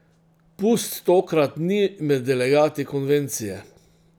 Pust tokrat ni med delegati konvencije.